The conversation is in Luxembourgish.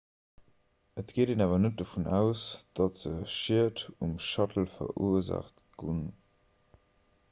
et geet een awer net dovun aus datt se schied um shuttle verursaacht hunn